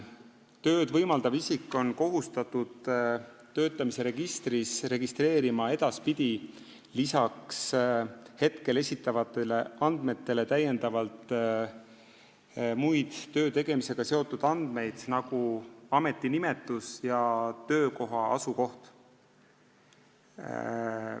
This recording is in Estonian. Tööd võimaldav isik on kohustatud töötamise registris registreerima edaspidi peale praegu esitatavate andmete muid töö tegemisega seotud andmeid, nagu ametinimetus ja töökoha asukoht.